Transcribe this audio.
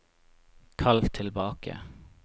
kall tilbake